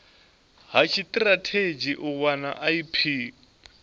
ha tshitirathedzhi u wana ip